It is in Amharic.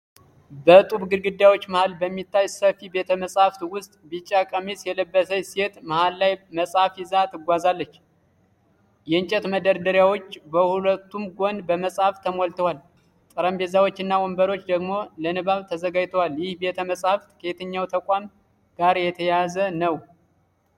በጡብ ግድግዳዎች መሃል በሚታይ ሰፊ ቤተ-መጽሐፍት ውስጥ፣ ቢጫ ቀሚስ የለበሰች ሴት መሃል ላይ መፅሃፍ ይዛ ትጓዛለች። የእንጨት መደርደሪያዎች በሁለቱም ጎን በመጽሐፍት ተሞልተዋል፤ ጠረጴዛዎች እና ወንበሮች ደግሞ ለንባብ ተዘጋጅተዋል። ይህ ቤተ-መጽሐፍት ከየትኛው ተቋም ጋር የተያያዘ ነው?